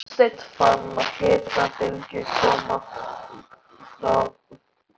Aðalsteinn fann hitabylgju fara um brjóstið.